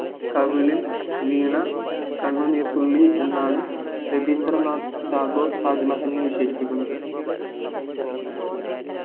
കവിളിൽ വീണ കണ്ണുനീർ തുള്ളി എന്നാണ് രവീന്ദ്രനാഥ് ടാഗോർ താജ്മഹൽനെ വിശേഷിപ്പിക്കുന്നത്